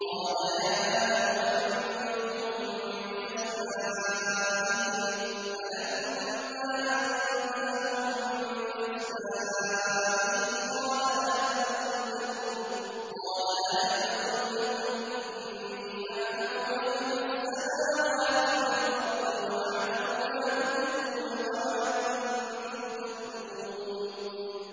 قَالَ يَا آدَمُ أَنبِئْهُم بِأَسْمَائِهِمْ ۖ فَلَمَّا أَنبَأَهُم بِأَسْمَائِهِمْ قَالَ أَلَمْ أَقُل لَّكُمْ إِنِّي أَعْلَمُ غَيْبَ السَّمَاوَاتِ وَالْأَرْضِ وَأَعْلَمُ مَا تُبْدُونَ وَمَا كُنتُمْ تَكْتُمُونَ